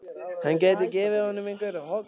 Hann gæti gefið honum einhver holl ráð.